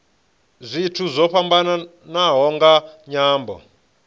zwithu zwo fhambanaho nga nyambo